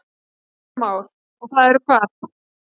Kristján Már: Og það eru hvað?